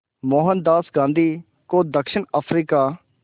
मोहनदास गांधी को दक्षिण अफ्रीका